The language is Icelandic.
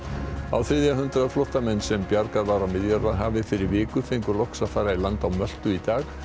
á þriðja hundrað flóttamenn sem bjargað var á Miðjarðarhafi fyrir viku fá fengu loks að fara í land á Möltu í dag